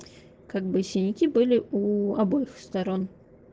как бы синяки были у обоих сторон